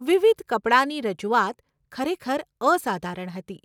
વિવિધ કપડાની રજૂઆત ખરેખર અસાધારણ હતી.